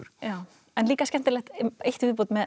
en líka skemmtilegt eitt í viðbót með